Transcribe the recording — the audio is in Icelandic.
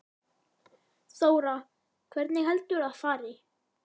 Þóra: Hvernig heldurðu að fari?